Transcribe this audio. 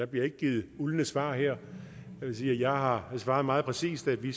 bliver givet uldne svar her jeg har svaret meget præcist at vi